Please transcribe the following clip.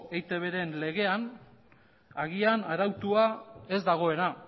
eitbren legean agian arautua ez dagoena